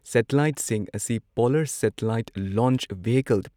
ꯁꯦꯇꯤꯂꯥꯏꯠꯁꯤꯡ ꯑꯁꯤ polar satellite launch vehicle